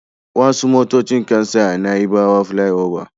Wasu motocin kan tsaya a naibawa filai oba